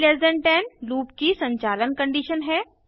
आई10 loop की संचालन condition है